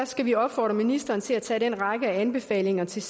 skal vi opfordre ministeren til særlig at tage den række af anbefalinger til